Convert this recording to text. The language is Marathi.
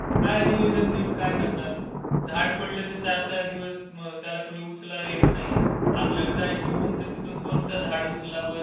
काय निवेदन देऊन काय करणार? झाड पडलं तर चार चार दिवस त्याला कोणी उचलायला येत नाही. आपल्याला जायची बोंब तर तिथून कोण झाड उचलावं